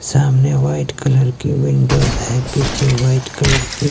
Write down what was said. सामने white colour की windows है पीछे व्हाइट कलर की--